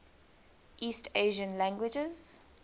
east asian languages